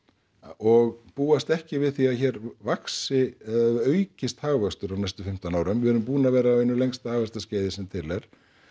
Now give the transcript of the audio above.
og búast ekki við því að hér vaxi eða aukist hagvöxtur á næstu fimmtán árum við erum búin að vera á einu lengsta hagvaxtarskeiði sem til er